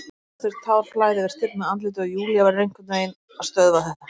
Röddin brestur, tár flæða yfir stirðnað andlitið og Júlía verður einhvern veginn að stöðva þetta.